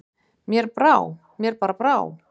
Mér bara brá.